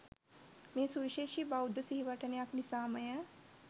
මෙය සුවිශේෂී බෞද්ධ සිහිවටනයක් නිසාම ය.